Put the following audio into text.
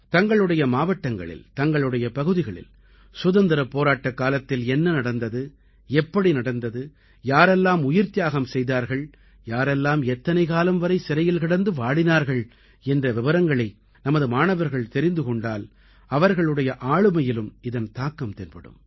தங்களுடைய மாவட்டங்களில் தங்களுடைய பகுதிகளில் சுதந்திரப் போராட்டக்காலத்தில் என்ன நடந்தது எப்படி நடந்தது யாரெல்லாம் உயிர்த்தியாகம் செய்தார்கள் யாரெல்லாம் எத்தனை காலம் வரை சிறையில் கிடந்து வாடினார்கள் என்ற விவரங்களை நமது மாணவர்கள் தெரிந்து கொண்டால் அவர்களுடைய ஆளுமையிலும் இதன் தாக்கம் தென்படும்